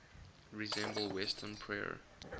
resemble western prayer